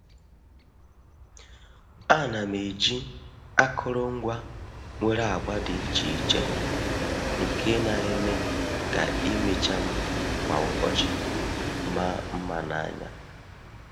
A na m eji akụrụngwa nwere agba dị iche iche nke na-eme ka imecha m kwa ụbọchị maa mma n’anya.